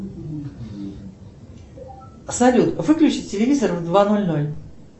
салют выключи телевизор в два ноль ноль